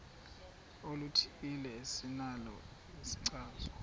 oluthile esinalo isichazwa